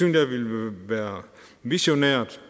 jeg ville være visionært